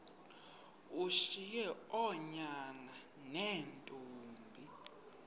ushiye oonyana neentombi